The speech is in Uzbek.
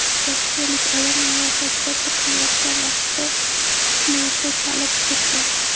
Rossiyalik ayol miyasi operatsiya qilinayotgan vaqtda fleyta chalib turdi.